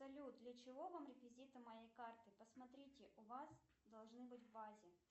салют для чего вам реквизиты моей карты посмотрите у вас должны быть в базе